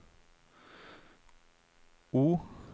O